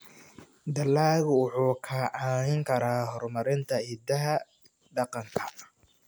Dalaggu wuxuu kaa caawin karaa horumarinta hidaha dhaqanka.